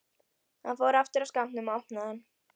Hann fór aftur að skápnum og opnaði hann.